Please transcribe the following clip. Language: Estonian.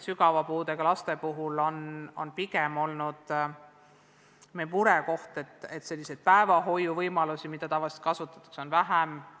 Sügava puudega laste puhul on murekohaks pigem olnud asjaolu, et päevahoiuvõimalusi, mida tavaliselt kasutatakse, on nüüd vähem.